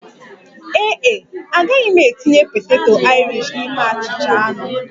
Ee e, agaghị m etinye poteto Airishi n'ime achịcha anụ